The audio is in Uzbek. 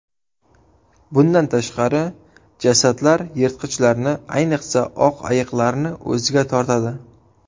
Bundan tashqari, jasadlar yirtqichlarni, ayniqsa, oq ayiqlarni o‘ziga tortadi.